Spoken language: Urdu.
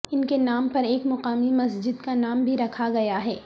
ان کے نام پر ایک مقامی مسجد کا نام بھی رکھا گیا ہے